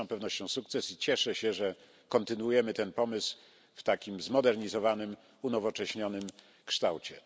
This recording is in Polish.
Jest to z pewnością sukces i cieszę się, że kontynuujemy ten pomysł w takim zmodernizowanym, unowocześnionym kształcie.